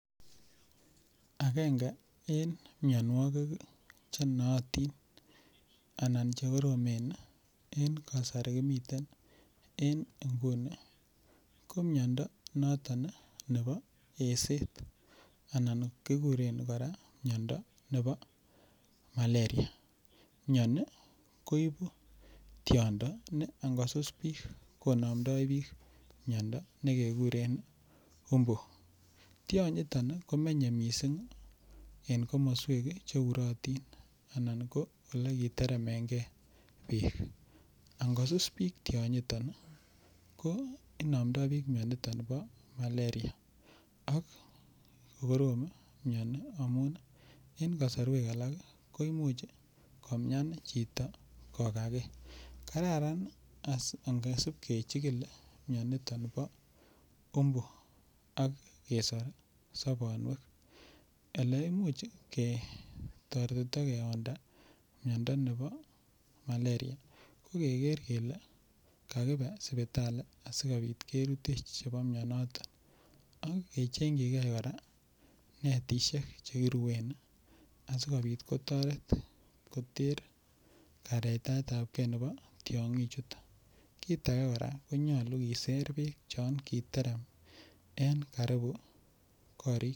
Akenge en mionwokik chenootin anan chekoromen en kasari kimiten en inguni ko miondo noton nebo eset anan kikuren kora miondo nebo malaria, mioni koibu tiondo ne ingosus biik konomndo biik miondo tiondo nekekuren umb, tionyiton komenye mising en komoswek che urotin anan ko elekiteremenge beek, angosus biik tionyiton ko inomndo biik mioniton bo malaria ak kokorom mioni amun en kosorwek alak koimuch komian chito kokakee, kararan ngesib kechikil mioniton bo umbu ak kesor sobonwek, eleimuch ketoretito kewonda miondo nebo malaria ko keker kelee kakibe sipitali sikobit kerutech chebo mionoton ak kechengyike kora netishek chekirwen asikobit kotoret koter karetaetabke nebo tiongi chuton, kiit akee kora konyolu koiser beek chon kiterem en karibu korik.